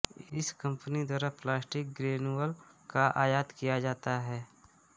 इस कंपनी द्वारा plastic granule का आयात किया जाता है